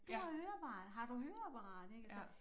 Du har høreapparat har du høreapparat ik og så